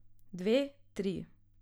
Dve, tri.